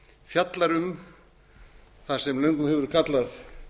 fjallar um það sem löngum hefur verið kallað